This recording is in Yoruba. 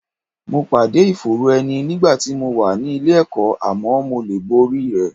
Mo pàdé ìfòòró ẹni nígbà tí mo wà nílé ẹ̀kọ́, àmọ́ mo lè borí rẹ̀